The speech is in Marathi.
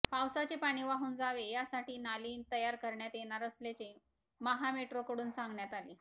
पावसाचे पाणी वाहून जावे यासाठी नाली तयार करण्यात येणार असल्याचे महामेट्रोकडून सांगण्यात आले